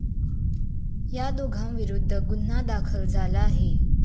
या दोघांविरूद्ध गुन्हा दाखल झाला आहे.